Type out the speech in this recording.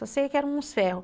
Só sei que eram uns ferros.